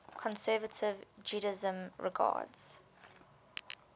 conservative judaism regards